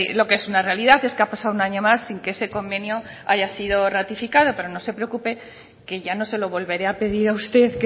lo que es una realidad es que ha pasado un año más sin que ese convenio haya sido ratificado pero no se preocupe que ya no se lo volveré a pedir a usted